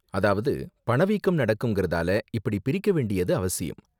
அதாவது, பணவீக்கம் நடக்கும்கிறதால இப்படி பிரிக்க வேண்டியது அவசியம்.